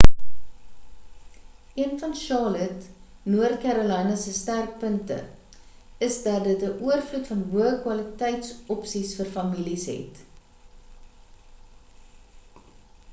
een van charlotte noord carolina se sterkpunte is dat dit 'n oorvloed van hoë kwaliteits opsies vir families het